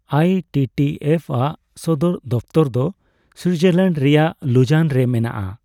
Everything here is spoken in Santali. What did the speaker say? ᱟᱭ ᱴᱤ ᱴᱤ ᱮᱯᱷᱼᱟᱜ ᱥᱚᱫᱚᱨ ᱫᱚᱯᱛᱚᱨ ᱫᱚ ᱥᱩᱭᱡᱟᱨᱞᱮᱸᱰ ᱨᱮᱭᱟᱜ ᱞᱩᱡᱟᱱ ᱨᱮ ᱢᱮᱱᱟᱜᱼᱟ ᱾